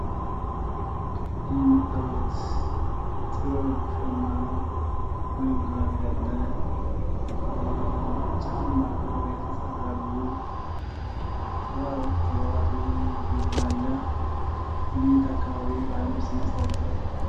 ይህ የምታዩት ጥበብ እሸማ ነው ።ወይም ጋቢ አለ። ጫማ ከቆዳ የተሰሩ አሉ። ጥበባ ጥበባት ዱላ አለ። ግን የየት አካባቢ የባህል ልብስ ይመስላችኋል?